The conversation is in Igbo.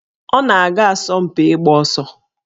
Ọ na-aga asọmpi ịgba ọsọ